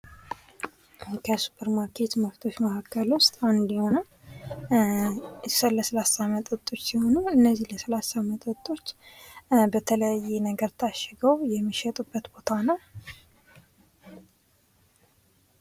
ከሱፐር ማርኬት ምርቶች ውስጥ አንዱ የሆነው የስላሴ መጠጦች በተለያየ ነገር ታሸጉ የሚሸጡ ቦታ ነው።